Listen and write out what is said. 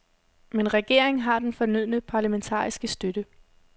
Men regeringen har den fornødne parlamentariske støtte.